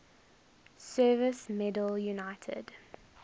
service medal united